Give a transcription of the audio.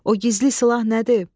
O gizli silah nədir?